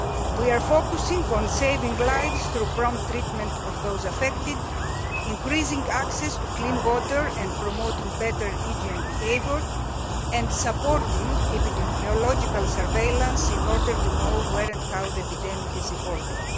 We are focusing on saving lives through prompt treatment of those affected, increasing access to clean water, promoting better hygiene behaviour and supporting epidemiological surveillance in order to know where and how the epidemic is evolving.